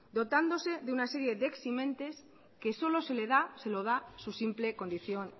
dotándose de una serie de eximentes que solo se lo da su simple condición